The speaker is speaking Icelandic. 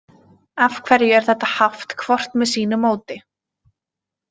Af hverju er þetta haft hvort með sínu móti?